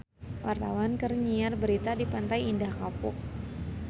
Wartawan keur nyiar berita di Pantai Indah Kapuk